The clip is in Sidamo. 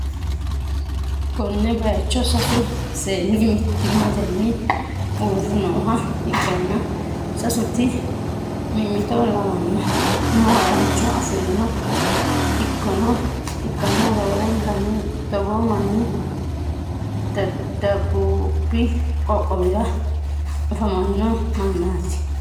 konne bayicho sasu seenni mittimmatenni uurre nooha ikkanna, sasenti mimmito lawanno umo harancho afi'noha ikkanna, roorenkanni togoo manni dabuubi qoqqowi'ra afamanno mannaati.